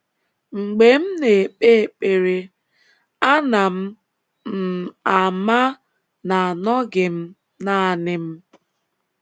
Mgbe m na - ekpe ekpere, ana m m ama na anọghị m nanị m.